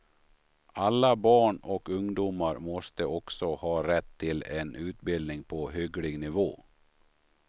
Alla barn och ungdomar måste också ha rätt till en utbildning på hygglig nivå.